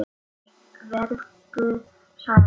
Vertu sæl!